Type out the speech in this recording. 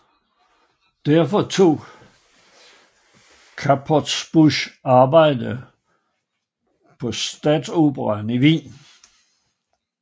Derfor tog Knappertsbusch arbejde på Staatsoper i Wien